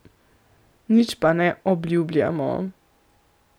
Nič pa ne obljubljamo.